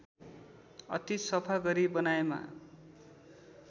अति सफा गरी बनाएमा